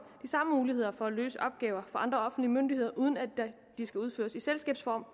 samme muligheder for at løse opgaver for andre offentlige myndigheder uden at de skal udføres i selskabsform